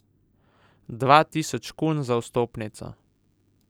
Dva tisoč kun za vstopnico.